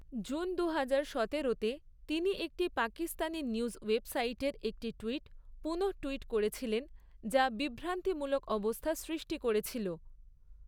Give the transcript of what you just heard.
June দুহাজার সতেরোতে তিনি একটি পাকিস্তানি নিউজ ওয়েবসাইটের একটি টুইট পুনঃটুইট করেছেন যা বিভ্রান্তিমূলক অবস্থা সৃষ্টি করেছিল।